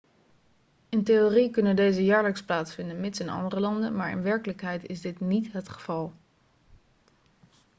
in theorie kunnen deze jaarlijks plaatsvinden mits in andere landen maar in werkelijkheid is dit niet het geval